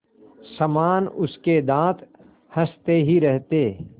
समान उसके दाँत हँसते ही रहते